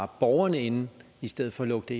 borgerne inde i stedet for at lukke